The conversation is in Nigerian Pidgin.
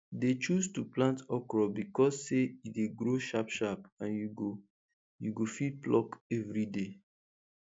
dey choose to plant okro becos say e dey grow sharp sharp and you go you go fit pluck everyday